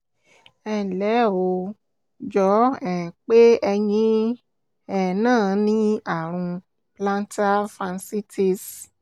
ẹnlẹ́ o ó jọ um pé ẹ̀yin um náà ní ààrùn plantar fasciitis